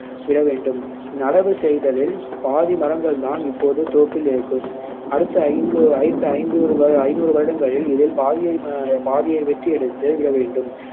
விடவேண்டும் நடவு செய்ததில் பாதி மரங்கள்தான் இப்போது தோப்பில் இருக்கும் அடுத்த ஐந்து ஐந்து ஐந்து ஐந்நூறு வருடங்களில் இதில் பாதியை பாதியை வெட்டியெடுத்து விடவேண்டும்